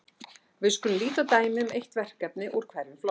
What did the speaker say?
Við skulum líta á dæmi um eitt verkefni úr hverjum flokki.